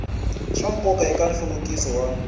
swa nkoka eka nhluvukiso wa